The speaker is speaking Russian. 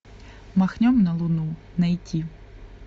махнем на луну найти